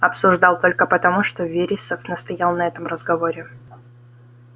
обсуждал только потому что вересов настоял на этом разговоре